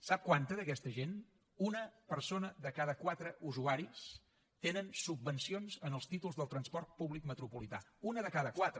sap quanta d’aquesta gent una persona de cada quatre usuaris tenen subvencions en els títols del transport públic metropolità una de cada quatre